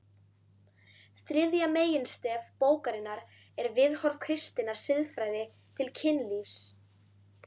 Þriðja meginstef bókarinnar er viðhorf kristinnar siðfræði til kynlífs.